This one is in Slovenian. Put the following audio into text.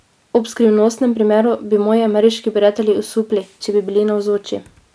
Ob skrivnostnem primeru bi moji ameriški prijatelji osupli, če bi bili navzoči!